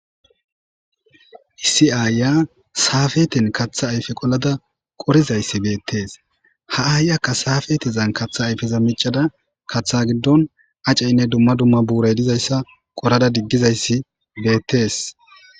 issi ayfiya saafeten kaththa ayfe qolada qorizayssi beettees ha7aay akka saafetezan katha ayfeza micada kaththa giddon acceynne dumma dumma buuray dizayssa qorada diggizayssi beettees